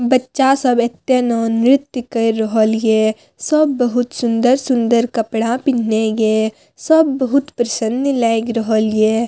बच्चा सब एते ने नृत्य केर रहल या सब बहुत सुंदर-सुंदर कपड़ा पिन्हला या सब बहुत प्रसन्न लाग रहल या।